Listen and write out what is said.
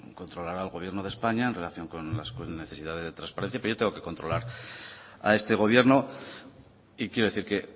controlará al gobierno de españa en relación con las necesidades de transparencia pero yo tengo que controlar a este gobierno y quiero decir que